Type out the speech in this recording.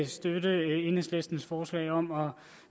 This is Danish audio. støtte enhedslistens forslag om at